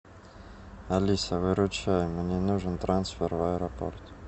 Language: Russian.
алиса выручай мне нужен трансфер в аэропорт